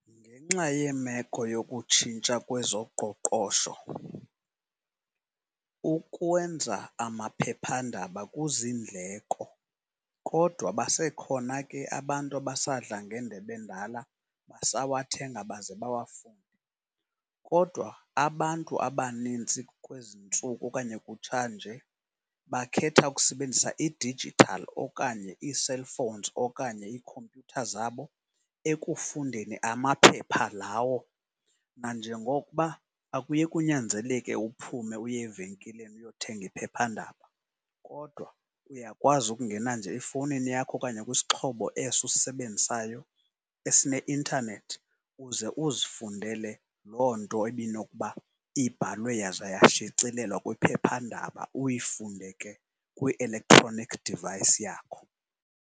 Ngenxa yemeko yokutshintsha kwezoqoqosho ukwenza amaphephandaba kuzindleko kodwa basekhona ke abantu abasadla ngendebe endala basawathenga baze bawafunde. Kodwa abantu abanintsi kwezi ntsuku okanye kutsha nje bakhetha ukusebenzisa i-digital okanye ii-cellphones okanye iikhompyutha zabo ekufundeni amaphepha lawo. Nanjengokuba akuye kunyanzeleke uphume uye evenkileni uyothenga iphephandaba kodwa uyakwazi ukungena nje efowunini yakho okanye kwisixhobo eso usisebenzisayo esine-internet uze uzifundele loo nto ibinokuba ibhalwe yaza yashicilelwa kwiphephandaba. Uyifunde ke kwi-electronic device yakho.